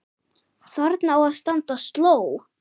Þarna á að standa sló.